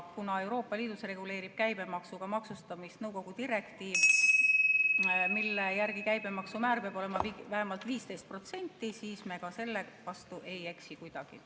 Kuna Euroopa Liidus reguleerib käibemaksuga maksustamist nõukogu direktiiv , mille järgi käibemaksumäär peab olema vähemalt 15%, siis me ka selle vastu kuidagi ei eksi.